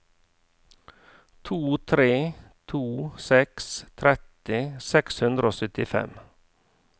to tre to seks tretti seks hundre og syttifem